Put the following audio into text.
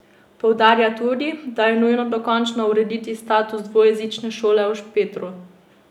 Poudarja tudi, da je nujno dokončno urediti status dvojezične šole v Špetru.